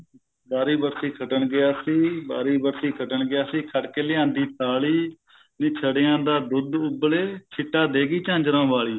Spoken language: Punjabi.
ਵਾਰੀ ਵਰਸੀ ਖੱਟਣ ਗਿਆ ਸੀ ਵਾਰੀ ਵਰਸੀ ਖੱਟਣ ਗਿਆ ਸੀ ਖੱਟ ਕੇ ਲਿਆਂਦੀ ਥਾਲੀ ਨੀਂ ਛੜਿਆਂ ਦਾ ਦੁੱਧ ਉਬਲੇ ਛਿੱਟਾ ਦੇ ਗਈ ਝਾਂਜਰਾਂ ਵਾਲੀ